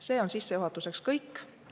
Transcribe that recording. See on sissejuhatuseks kõik.